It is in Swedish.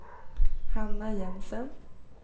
Hanna Jensen